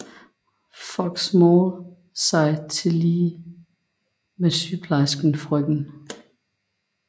Fox Maule sig tillige med sygeplejersken frk